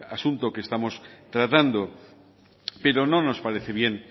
asunto que estamos tratando pero no nos parece bien